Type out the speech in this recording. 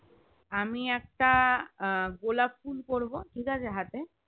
আমি একটা আহ গোলাপ ফুল করবো ঠিকাছে হাতে